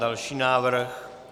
Další návrh.